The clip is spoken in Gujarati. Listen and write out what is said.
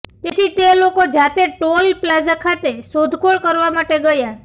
તેથી તે લોકો જાતે ટોલ પ્લાઝા ખાતે શોધખોળ કરવા માટે ગયા